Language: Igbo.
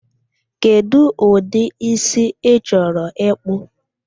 Kedụ ụdị ísí ị chọrọ ịkpụ?